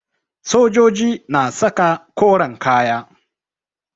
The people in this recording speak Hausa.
Sojoji na saka koren kaya